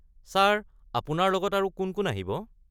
Sir আপোনাৰ লগত আৰু কোন কোন আহিব?